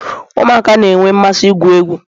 ụmụaka na-enwe mmasị igwu egwu